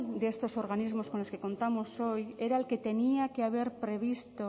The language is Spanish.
de estos organismos con los que contamos hoy era el que tenía que haber previsto